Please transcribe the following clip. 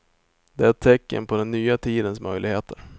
Det är ett tecken på den nya tidens möjligheter.